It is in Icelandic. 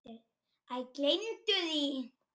Æ, gleymdu því.